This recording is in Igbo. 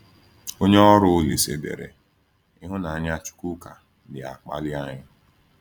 Onye ọrụ Olísè dere: “Ịhụnanya Chukwuka na-akpali anyị.”